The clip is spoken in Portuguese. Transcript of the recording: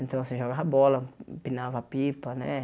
Então, assim, jogava bola, empinava pipa, né?